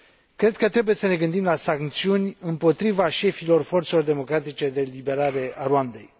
Cred că trebuie să ne gândim la sancțiuni împotriva șefilor forțelor democratice de eliberare a Rwandei.